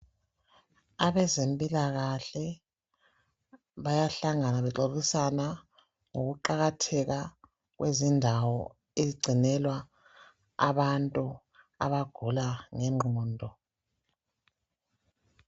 Abezempilakahle bayahlangana bexoxisana ngokuqakatheka kwezindawo ezigcinelwa abantu abagula ngengqondo